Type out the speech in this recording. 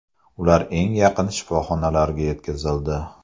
Ular eng yaqin shifoxonalarga yetkazildi.